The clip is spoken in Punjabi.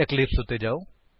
ਇਕਲਿਪਸ ਉੱਤੇ ਜਾਓ